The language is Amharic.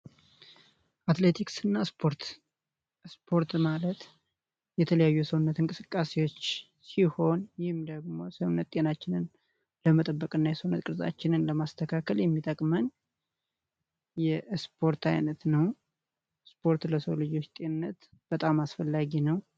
አትሌቲክስ እና ስፖርት ማለት የተለያዩ የሰውነት እንቅስቃሴዎች ሲሆን፤ ይህም ደግሞ ሰውነት ጤናችንን ለመጠበቅና የሰውነት ቅርጻችንን ለማስተካከል የሚጠቅመን የስፖርት አይነት ነው። ስፖርት ለሰው ልጆች ጤንነት በጣም አስፈላጊ ነ።